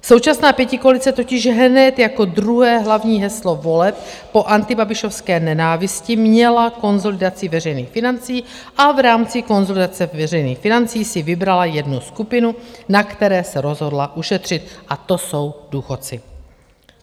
Současná pětikoalice totiž hned jako druhé hlavní heslo voleb po antibabišovské nenávisti měla konsolidaci veřejných financí a v rámci konsolidace veřejných financí si vybrala jednu skupinu, na které se rozhodla ušetřit, a to jsou důchodci.